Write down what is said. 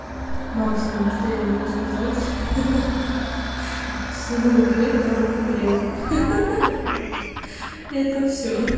максимум что я могу сказать хе-хе сунул грека руку в реку это всё